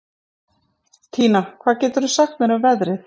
Tína, hvað geturðu sagt mér um veðrið?